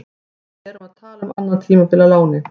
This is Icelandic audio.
Við erum að tala um annað tímabil á láni.